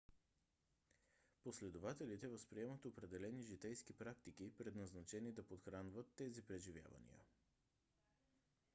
последователите възприемат определени житейски практики предназначени да подхранват тези преживявания